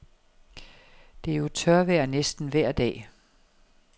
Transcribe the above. Det er jo tørvejr næsten vejr dag.